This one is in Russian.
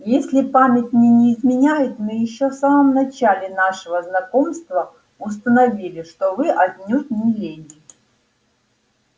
если память мне не изменяет мы ещё в самом начале нашего знакомства установили что вы отнюдь не леди